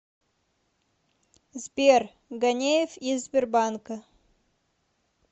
сбер ганеев из сбербанка